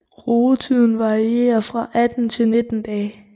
Rugetiden varierer fra 18 til 19 dage